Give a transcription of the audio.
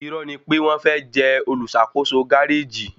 Irọ́ni pé wọ́n fẹ́ jẹ olùṣàkóso gáréjì